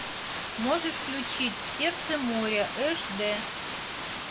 можешь включить в сердце моря эш дэ